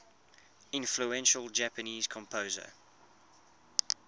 influential japanese composer